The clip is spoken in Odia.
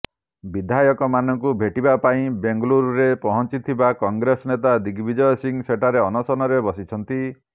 ବିଧାୟକମାନଙ୍କୁ ଭେଟିବା ପାଇଁ ବେଙ୍ଗାଲୁରୁରେ ପହଞ୍ଚିଥିବା କଂଗ୍ରେସ ନେତା ଦିଗବିଜୟ ସିଂହ ସେଠାରେ ଅନଶନରେ ବସିଛନ୍ତି